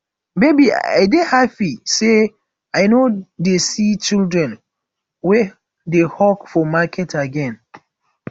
babe i dey happy say i no dey see children wey dey hawk for market again